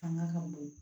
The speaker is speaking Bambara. Fanga ka bon